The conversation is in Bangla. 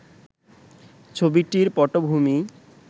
ছবিটির পটভূমি